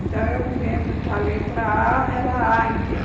Então, eu me lembro que a letra á era águia.